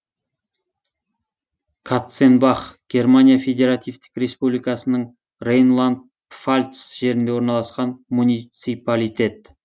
катценбах германия федеративтік республикасының рейнланд пфальц жерінде орналасқан муниципалитет